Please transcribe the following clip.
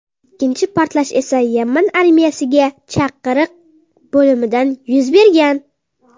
Ikkinchi portlash esa Yaman armiyasiga chaqiriq bo‘limida yuz bergan.